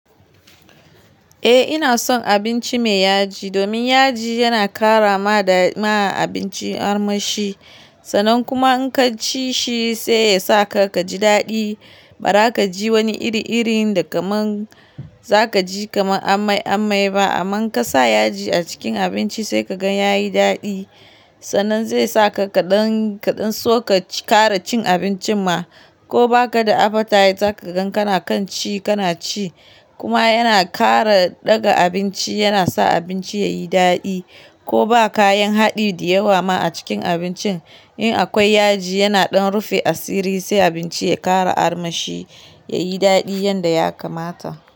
Eh ina son abinci me yaji, domin yaji yana karrama da ma abinci armashi. Sanan kuma in ka ci shi sai yasa ka kaji daɗi. Bara ka ji wani iri-iri da kaman za ka ji kaman amai-amai ba. Aman in kasa yaji a cikin abinci sai ka gan yayi daɗi. Sanan zai sa ka kaɗan kaɗan so ka kara cin abincin ma. Ko ba ka da appetite zaka gan kana kan ci kana ci. Kuma yana kara ɗaga abinci, yana sa abinci yayi daɗi. Ko ba kayan haɗi diyawa ma a cikin abincin in akwai yaji yana ɗan rufe asiri sai abinci ya kara armashi, yayi daɗi yanda ya kamata.